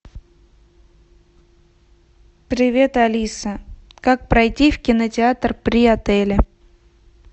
привет алиса как пройти в кинотеатр при отеле